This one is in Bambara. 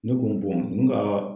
Ne ko ninnu ka